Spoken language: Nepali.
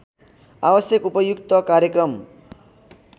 आवश्यक उपयुक्त कार्यक्रम